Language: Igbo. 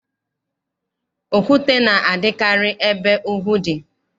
Okwute na-adịkarị ebe ugwu dị.